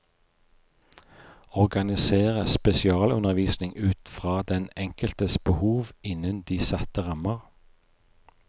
Organisere spesialundervisning ut fra den enkeltes behov innen de satte rammer.